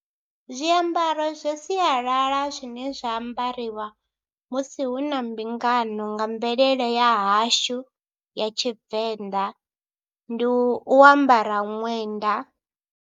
Zwiambaro zwa sialala zwine zwa ambariwa musi hu na mbingano nga mvelele ya hashu ya Tshivenḓa ndi u ambara ṅwenda.